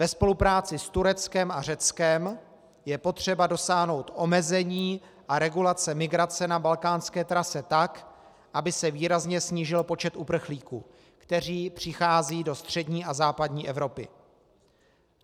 Ve spolupráci s Tureckem a Řeckem je potřeba dosáhnout omezení a regulace migrace na balkánské trase tak, aby se výrazně snížil počet uprchlíků, kteří přicházejí do střední a západní Evropy.